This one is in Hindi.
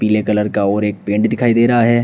पीले कलर का और एक पेंट दिखाई दे रहा है।